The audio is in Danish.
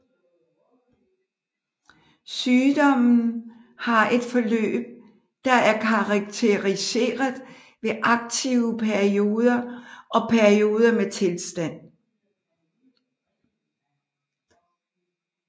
Sygdommen har et forløb der er karakteriseret ved aktive perioder og perioder med stilstand